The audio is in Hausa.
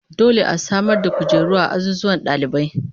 Dole a samar da kujeru a azuzuwan dalibai